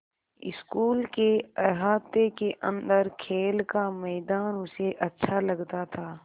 school के अहाते के अन्दर खेल का मैदान उसे अच्छा लगता था